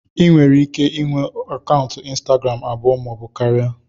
Ị nwere ike inwe akaụntụ ịnstagram abụọ maọbụ karịa